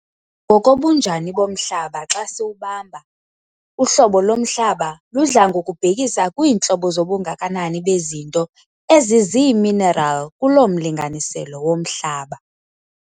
Ngokobunjani bomhlaba xa siwubamba, uhlobo lomhlaba ludla ngokubhekisa kwiintlobo zobungakanani bezinto eziziimineral kuloo mlinganiselo womhlaba.